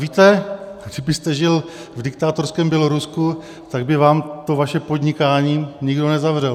Víte, kdybyste žil v diktátorském Bělorusku, tak by vám to vaše podnikání nikdo nezavřel.